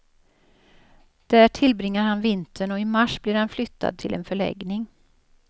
Där tillbringar han vintern och i mars blir han flyttad till en förläggning.